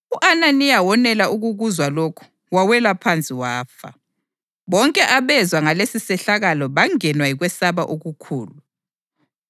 U-Ananiya wonela ukukuzwa lokhu, wawela phansi wafa. Bonke abezwa ngalesisehlakalo bangenwa yikwesaba okukhulu.